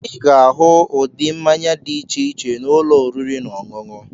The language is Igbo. Ị ga-ahụ ụdị mmanya dị iche iche na ụlọ oriri na ọṅụṅụ.